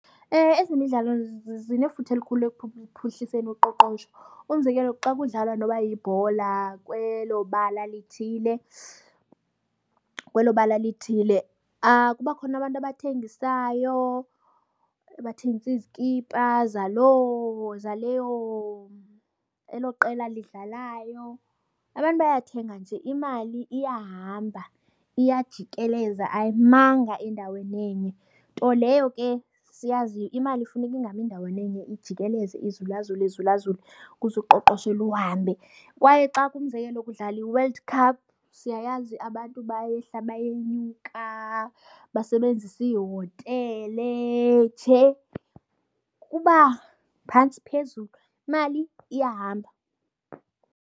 Ezemidlalo zinefuthe elikhulu ekuphuhliseni uqoqosho. Umzekelo xa kudlalwa noba yibhola kwelo bala lithile kwelo bala lithile kuba khona abantu abathengisayo, abathengisa izikipa zaloo, zaleyo, elo qela lidlalayo. Abantu bayathenga nje imali iyahamba iyajikeleza ayimanga endaweni enye nto leyo ke siyaziyo. Imali funeka ingami endaweni enye, ijikeleze izulazule izulazule ukuze uqoqosho luhambe. Kwaye xa ke umzekelo kudlala iWorld Cup, siyayazi abantu bayehla bayenyuka, basebenzisa iihotele. Nje kuba phantsi phezulu, imali iyahamba.